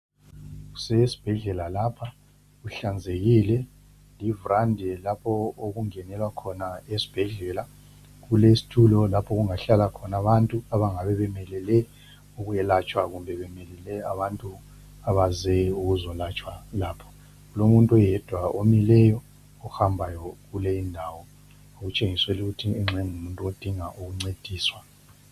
Kusesibhedlela lapha kuhlanzekile livrandi lapho okungenelwa khona esibhedlela kulestulo lapho okungahlala khona abantu abangabe bemelele ukuyelatshwa kumbe bemelele abantu abaze ukuzolatshwa lapho. Kulomuntu oyedwa omileyo ohambayo kuleyi ndawo okutshengisela ukuthi engxe ngumuntu odinga ukuncediswa.